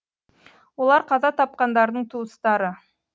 олар қаза тапқандардың туыстары